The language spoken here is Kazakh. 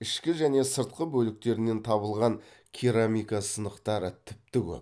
ішкі және сыртқы бөліктерінен табылған керамика сынықтары тіпті көп